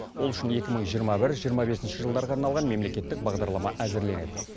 ол үшін екі мың жиырма бір жиырма бесінші жылдарға арналған мемлекеттік бағдарлама әзірленеді